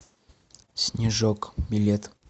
снежок билет